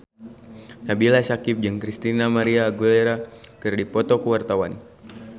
Nabila Syakieb jeung Christina María Aguilera keur dipoto ku wartawan